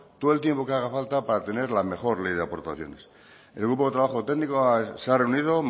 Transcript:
todo el tiempo que haga falta para tener la mejor ley de aportaciones el grupo de trabajo técnico se ha reunido